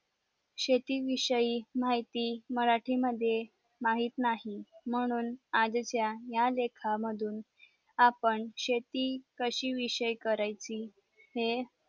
शेती विषयी माहिती मराठी मद्ये माहित नाही म्हणून आज इथे या देखाव्या मधून आपण शेती कशी विषय करायची हे